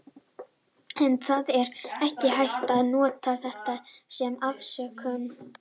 En það er ekki hægt að nota þetta sem afsökun.